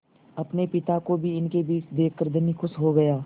अपने पिता को भी इनके बीच देखकर धनी खुश हो गया